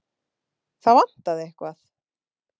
Það vantaði eitthvað.